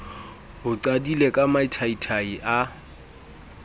o qadile ka mathaithai a